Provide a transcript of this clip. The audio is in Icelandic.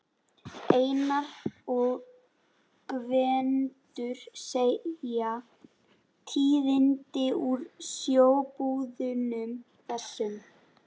Einar og Gvendur segja tíðindi úr sjóbúðunum, þessum